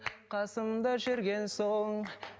қасымда жүрген соң